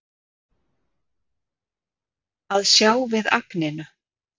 Að sjá við agninu